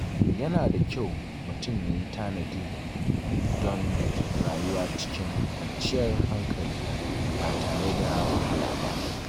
Yana da kyau mutum ya yi tanadi don rayuwa cikin kwanciyar hankali ba tare da wahala ba.